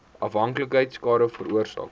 afhanklikheid skade veroorsaak